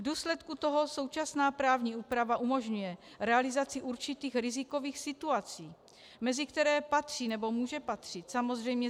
V důsledku toho současná právní úprava umožňuje realizaci určitých rizikových situací, mezi které patří, nebo může patřit samozřejmě